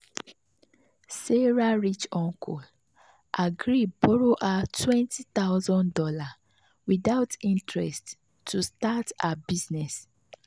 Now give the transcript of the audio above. sarah rich uncle agree borrow her two thousand dollars0 without interest to start her business.